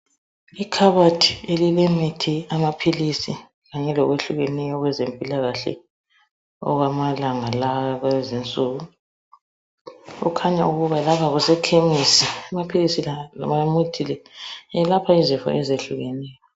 Ikhabothi elilemithi, amaphilisi kanye lokwehlukeneyo okwezempilakahle okwamalanga lawa akulezinsuku. Kukhanya ukuba lapha kusekhemisi amaphilisi loba imithi le yelapha izifo ezehlukeneyo